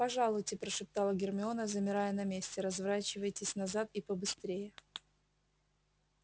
пожалуйте прошептала гермиона замирая на месте разворачивайтесь назад и побыстрее